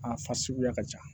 A fa suguya ka ca